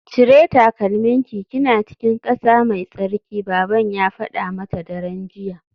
Cire takalminki kina cikin kasa mai tsarki baban ya fada mata daren jiya